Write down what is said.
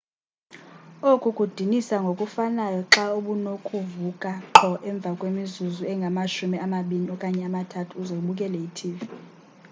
oku kudinisa ngokufanayo xa ubunokuvuka qho emva kwemizuzu engamashumi amabini okanye amathathu uze ubukele i-tv